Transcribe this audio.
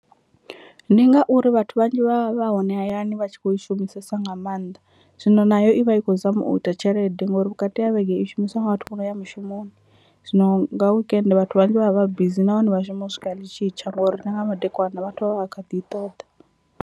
Ndi ngauri vhathu vhanzhi vha vha hone hayani vha tshi kho i shumisesa nga maanḓa zwino nayo i vha i khou zama u ita tshelede ngori vhukati ha vhege i shumiswa nga vhathu vho no ya mushumoni, zwino nga weekend vhathu vhanzhi vha vha vha bizi nahone vha shuma u swika ḽi tshi tsha ngori na nga madekwana vhathu vha vha vha kha ḓi i ṱoḓa.